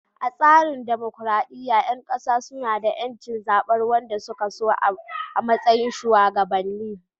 A tsarin dimokuradiyya, ƴan kasa suna da ƴancin zabar wanda suke so a matsayin shugabanni.